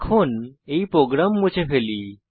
এখন এই প্রোগ্রাম মুছে ফেলি